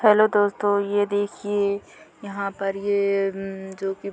hello दोस्तों ये देखिए यहाँ पर ये अम्म्म जोकि --